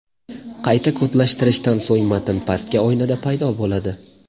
Qayta kodlashtirishdan so‘ng matn pastki oynada paydo bo‘ladi.